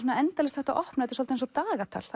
endalaust hægt að opna þetta er eins og dagatal